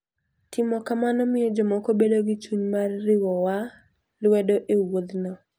Timo kamano miyo jomoko bedo gi chuny mar riwowa lwedo e wuodhno.